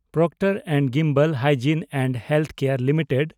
Procter and Gamble hygiene and health care limited